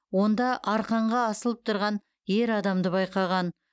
онда арқанға асылып тұрған ер адамды байқаған